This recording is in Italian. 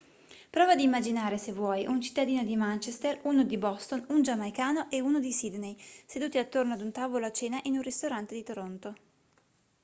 prova ad immaginare se vuoi un cittadino di manchester uno di boston un giamaicano e uno di sydney seduti attorno ad un tavolo a cena in un ristorante di toronto